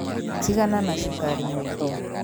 Tigana na cukari mũingĩ